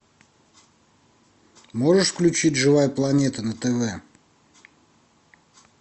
можешь включить живая планета на тв